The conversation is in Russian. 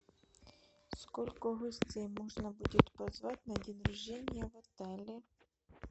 сколько гостей можно будет позвать на день рождения в отеле